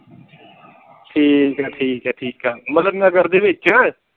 ਠੀਕ ਹੈ ਠੀਕ ਹੈ ਠੀਕ ਹੈ ਮਤਲਬ नगर ਦੇ ਵਿੱਚ